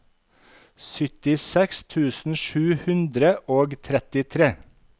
syttiseks tusen sju hundre og trettitre